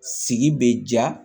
Sigi be ja